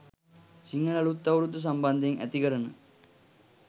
සිංහල අලූත් අවුරුද්ද සම්බන්ධයෙන් ඇතිකරන